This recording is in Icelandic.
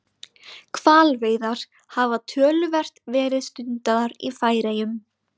Hvalveiðar hafa töluvert verið stundaðar í Færeyjum.